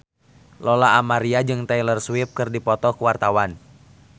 Lola Amaria jeung Taylor Swift keur dipoto ku wartawan